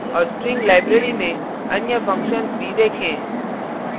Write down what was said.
और string library में अन्य functions भी देखें